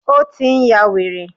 Ó tí n yá wèrè.